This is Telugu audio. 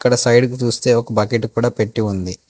ఒక సైడ్ కు చూస్తే ఒక బకెట్ కూడా పెట్టి ఉంది.